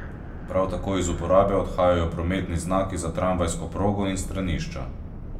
Prav tako iz uporabe odhajajo prometni znaki za tramvajsko progo in stranišča.